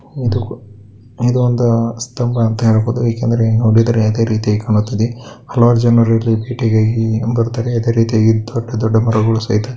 ಇದು ಒಂದು ಸ್ಟಂಬ ಅಂತ ಹೇಳಬಹುದು ಏಕಂದರೆ ನೋಡಿದರೆ ಅದೇರೀತಿ ಕಾಣುತ್ತಿದೆ ಹಲವಾರು ಜನರು ಇಲ್ಲಿ ಭೇಟಿಗಾಗಿ ಬರ್ತಾರೆ ಅದೆ ರಿತಿಯಾಗಿ ದೊಡ್ಡದೊಡ್ಡ ಮರಗಳು ಸಹಿತ --